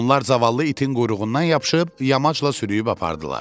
Onlar cavallı itin quyruğundan yapışıb yamacla sürüyüb apardılar.